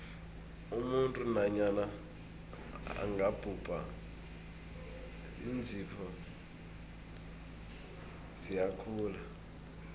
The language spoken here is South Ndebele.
umuntu nanyana angabhubha iinzipho ziyakhula